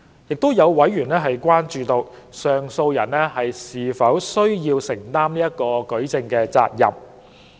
亦有委員關注到，上訴人是否需要承擔舉證責任。